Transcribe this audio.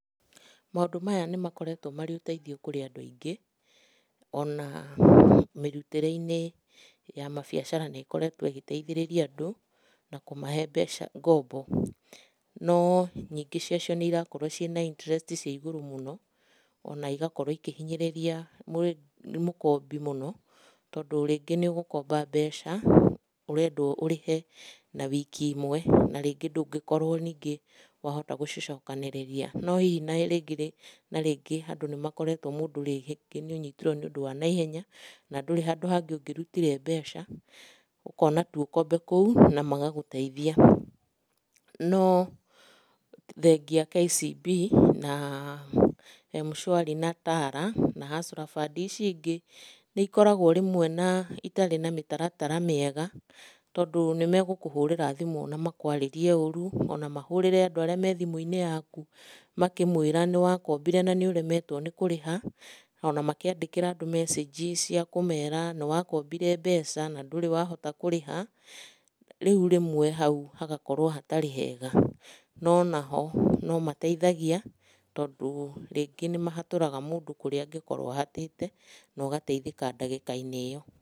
Maũndũ maya nĩmakoretwo marĩ ũteithio kũrĩ Andũ aingĩ, ona mĩrutĩre-inĩ ya mabiacara nĩkoretwo ĩgĩteithĩrĩria Andũ na kũmahe mbeca, ngombo. No nyingĩ ciacio nĩirakorwo cĩrĩ na interest ciĩ igũrũ mũno. Ona igakorwo ikĩhinyĩrĩria mũkombi mũno. Tondũ rĩngĩ nĩũgũkomba mbeca ũrendwo ũrĩhe na ũikie imwe, na rĩngĩ ndũngĩkorwo ningĩ wahota gũcicokanĩrĩria. No hihi na rĩngĩ na rĩngĩ Andũ nĩmakoretwo mũndũ rĩngĩ nĩũnyitirwo nĩ ũndũ wa na ihenya na ndũrĩ handũ hangĩ ũngĩrutire mbeca. Ũkona tu ukombe kũu na magagũteithia. No thengia KCB, na M-Shwari, na Tala, na Hustler Fund, ici ingĩ nĩikoragwo rĩmwe na, itarĩ na mĩtaratara mĩega tondũ nĩmegũkũhũrĩra thimũ na makwarĩrie ũrũ, ona mahũrĩre Andũ arĩa me thimu-inĩ yaku makĩmwĩra nĩ wakombire na nĩũremetwo nĩ kũrĩha. Ona makĩandĩkĩra Andũ mecinji cia kũmera nĩwakombire mbeca na ndũri wahota kũrĩha. Rĩu rĩmwe hau hagakorwo hatarĩ hega. No naho, nomateithagia, tondũ rĩngĩ nĩmahatũraga mũndũ kũrĩa angĩkorwo ahatĩte, na ũgateithĩka ndagĩka-inĩ ĩo.